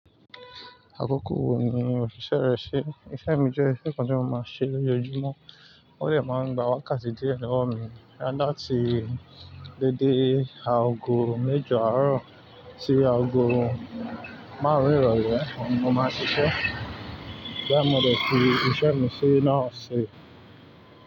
Àkókò wo ni o ṣiṣẹ́ rẹ ṣi? Iṣẹ́ mi jẹ́ iṣẹ́ kan tí mo máa ń ṣe lójoojúmọ́, ó dè máa ń gba wákàtí díẹ̀ lowọ́ mi, latí dédé aago méjọ àárọ̀ sí aago márùn-ún ìrọlẹ́ ni mo máa ń ṣiṣẹ́. Ìgbá yí mo dè fi iṣẹ́ mi ṣe náà ṣe.